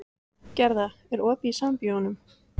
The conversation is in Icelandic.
Gerða, er opið í Sambíóunum?